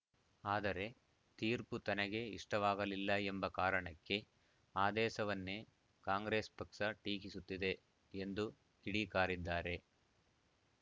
ಆದರೆ ತೀರ್ಪು ತನಗೆ ಇಷ್ಟವಾಗಲಿಲ್ಲ ಎಂಬ ಕಾರಣಕ್ಕೆ ಆದೇಶವನ್ನೇ ಕಾಂಗ್ರೆಸ್‌ ಪಕ್ಷ ಟೀಕಿಸುತ್ತಿದೆ ಎಂದು ಕಿಡಿಕಾರಿದ್ದಾರೆ